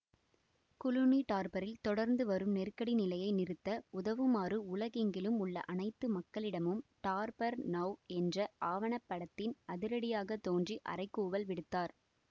Clooney டார்பரில் தொடர்ந்து வரும் நெருக்கடி நிலையை நிறுத்த உதவுமாறு உலகெங்கிலும் உள்ள அனைத்து மக்களிடமும் டார்பர் நௌ என்ற ஆவணப்படத்தில் அதிரடியாகத் தோன்றி அறைகூவல் விடுத்தார்